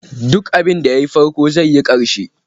Duk abinda ya yi farko zai yi ƙarke.